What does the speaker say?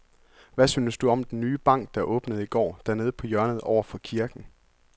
Hvad synes du om den nye bank, der åbnede i går dernede på hjørnet over for kirken?